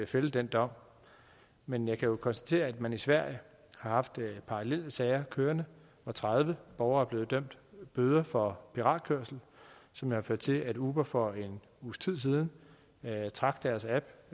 fælde dom dom men jeg kan jo konstatere at man i sverige har haft parallelle sager kørende hvor tredive borgere er blevet idømt bøder for piratkørsel som har ført til at uber for en uges tid siden trak deres app